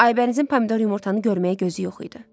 Aybənizin pomidor yumurtanı görməyə gözü yox idi.